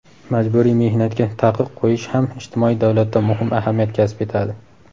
majburiy mehnatga taqiq qo‘yish ham ijtimoiy davlatda muhim ahamiyat kasb etadi.